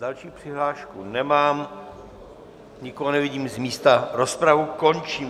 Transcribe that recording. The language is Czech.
Další přihlášku nemám, nikoho nevidím z místa, rozpravu končím.